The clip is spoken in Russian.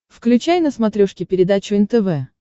включай на смотрешке передачу нтв